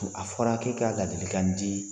A fɔla k'e ka ladili kan di